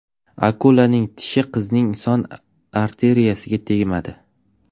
Akulaning tishi qizning son arteriyasiga tegmadi.